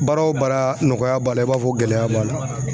Baara o baara nɔgɔya b'a la i b'a fɔ gɛlɛya b'a la